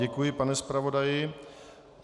Děkuji, pane zpravodaji.